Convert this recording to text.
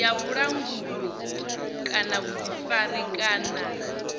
ya vhulanguli kana vhuḓifari kana